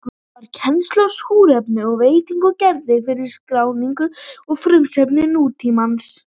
Hann bar kennsl á súrefni og vetni og gerði fyrstu skrána um frumefni nútímans.